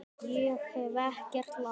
Ég hef ekkert lært.